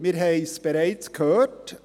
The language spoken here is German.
Wir haben es bereits gehört: